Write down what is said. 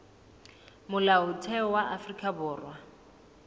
molaotheo wa afrika borwa o